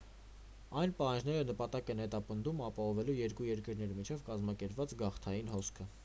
այս պահանջները նպատակ են հետապնդում ապահովելու երկու երկրների միջև կազմակերպված գաղթային հոսքը